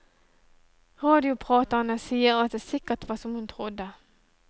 Radiopraterne sier at det sikkert var som hun trodde.